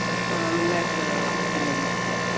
ആണല്ലേ ആഹ്